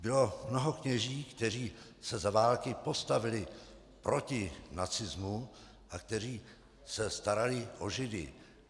Bylo mnoho kněží, kteří se za války postavili proti nacismu a kteří se starali o Židy.